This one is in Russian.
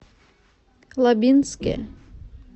лабинске